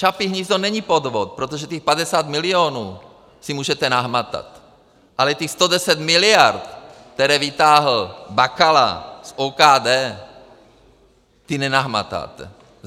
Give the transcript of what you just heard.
Čapí hnízdo není podvod, protože těch 50 milionů si můžete nahmatat, ale těch 110 miliard, které vytáhl Bakala z OKD, ty nenahmatáte.